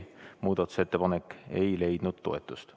Muudatusettepanek ei leidnud toetust.